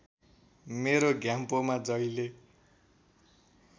मेरो घ्याम्पोमा जहिले